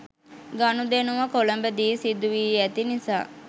ගනුදෙනුව කොළඹ දී සිදුවී ඇති නිසා